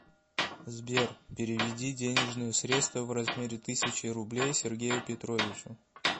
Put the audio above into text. сбер переведи денежные средства в размере тысячи рублей сергею петровичу